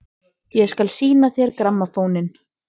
Ég skal sýna þér grammófóninn!